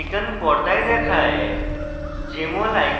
jmol icon পর্দায় দেখায়